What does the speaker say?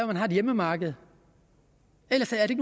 man har et hjemmemarked ellers er